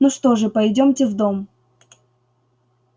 ну что же пойдёмте в дом